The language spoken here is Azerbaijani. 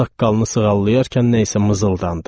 Saqqalını sığallayarkən nə isə mızıldandı.